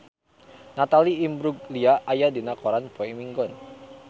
Natalie Imbruglia aya dina koran poe Minggon